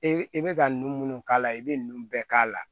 E i bɛ ka ninnu minnu k'a la i bɛ nunnu bɛɛ k'a la